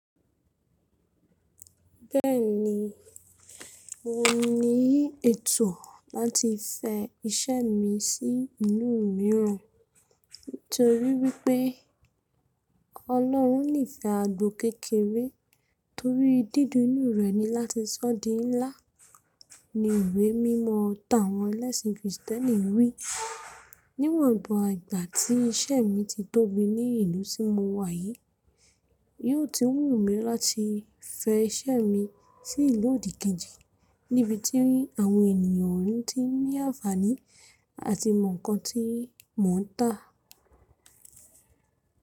Bẹ́ẹ̀ni, mo ní ètò láti fẹ iṣẹ́ mi sí ìlú mìíràn. Nítorí wípé Ọlọ́run nífẹ̀ẹ́ àgbo kékeré torí dídínù rẹ̀ ni láti sọ́ di ńlá, ni ìwé mímọ̀ táwọn ẹlẹ́sìn kìrìsìtẹ́nì wí. Níwọn ìgbà tí iṣẹ́ mi ti tóbi ní ìlú tí mo wà yìí, yóò tun wù mí láti fẹ iṣẹ́ mi sí ìlú òdìkejì níbi tí àwọn ènìyàn oun ti ní àǹfàní àti mọ nǹkan tí mò ń tà.